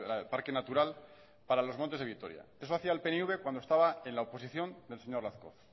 de parque natural para los montes de vitoria eso hacía el pnv cuando estaba en la oposición del señor lazcoz